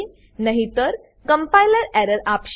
નહીતર compiler compiler error આપશે